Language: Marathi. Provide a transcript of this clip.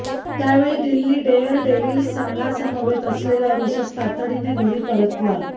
त्यावेळी दिल्ली डेअरडेव्हिल्स संघासमवेत असलेला ऋषभ तातडीने घरी परतला